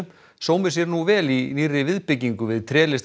sómir sér nú vel í nýrri viðbyggingu við